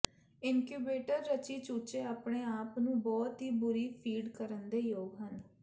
incubator ਰਚੀ ਚੂਚੇ ਆਪਣੇ ਆਪ ਨੂੰ ਬਹੁਤ ਹੀ ਬੁਰੀ ਫੀਡ ਕਰਨ ਦੇ ਯੋਗ ਹਨ